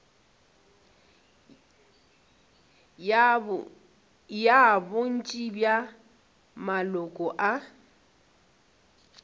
ya bontši bja maloko a